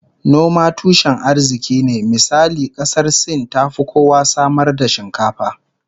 Noma tushen arziki ne, misali kasar Sin tafi kowa samar da shinkafa